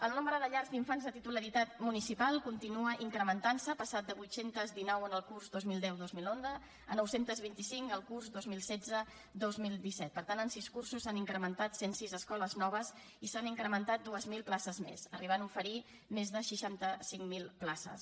el nombre de llars d’infants de titularitat municipal continua incrementant se ha passat de vuit cents i dinou en el curs dos mil deu dos mil onze a nou cents i vint cinc el curs vint milions cent i seixanta dos mil disset per tant en sis cursos s’han incrementat cent i sis escoles noves i s’han incrementat dos mil places més arribant a oferir més de seixanta cinc mil places